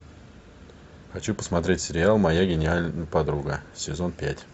хочу посмотреть сериал моя гениальная подруга сезон пять